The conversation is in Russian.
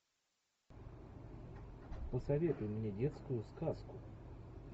посоветуй мне детскую сказку